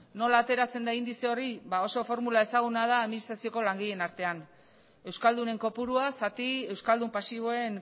nola ateratzen da indize hori ba oso formula ezaguna da administrazioko langileen artean euskaldunen kopurua zati euskaldun pasiboen